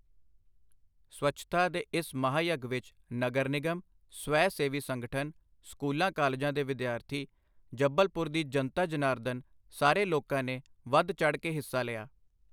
ਸਵੱਛਤਾ ਦੇ ਇਸ ਮਹਾਯੱਗ ਵਿੱਚ ਨਗਰ ਨਿਗਮ, ਸਵੈ ਸੇਵੀ ਸੰਗਠਨ, ਸਕੂਲਾਂ ਕਾਲਜਾਂ ਦੇ ਵਿਦਿਆਰਥੀ, ਜਬਲਪੁਰ ਦੀ ਜਨਤਾ ਜਨਾਰਦਨ ਸਾਰੇ ਲੋਕਾਂ ਨੇ ਵਧ ਚੜ੍ਹ ਕੇ ਹਿੱਸਾ ਲਿਆ।